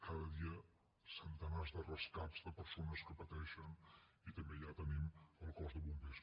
cada dia centenars de rescats de persones que pateixen i també allà tenim el cos de bombers